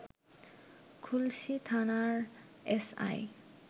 খুলশী থানার এসআই